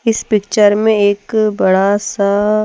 इस पिक्चर में एक बड़ा सा--